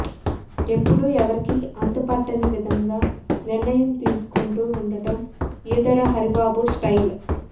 ఎప్పుడూ ఎవరికి అంతుపట్టని విధంగా నిర్ణయాలు తీసుకుంటూ వుండటం ఈదర హరిబాబు స్టైల్